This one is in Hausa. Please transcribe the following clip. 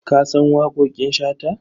Ka san waƙoƙin Shata?